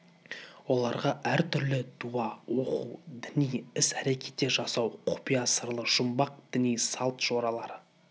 оларға әр түрлі дуа оқу діни іс-әрекеттер жасау құпия сырлы жұмбақ діни салт-жоралары